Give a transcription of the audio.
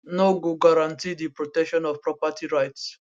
no go guarantee di protection of property rights